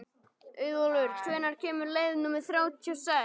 Auðólfur, hvenær kemur leið númer þrjátíu og sex?